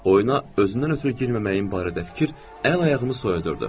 Oyuna özümdən ötrü girməməyin barədə fikir əl-ayağımı soyadardı.